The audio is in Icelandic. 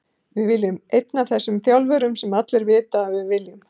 Við viljum einn af þessum þjálfurum sem allir vita að við viljum.